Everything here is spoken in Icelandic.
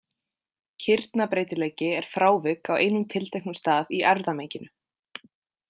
Kirnabreytileiki er frávik á einum tilteknum stað í erfðamenginu.